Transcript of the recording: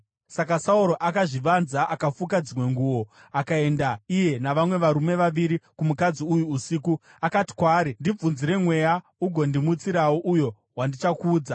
Saka Sauro akazvivanza akafuka dzimwe nguo, akaenda iye navamwe varume vaviri kumukadzi uyu usiku. Akati kwaari, “Ndibvunzire mweya, ugondimutsirawo uyo wandichakuudza.”